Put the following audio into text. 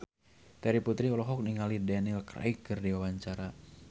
Terry Putri olohok ningali Daniel Craig keur diwawancara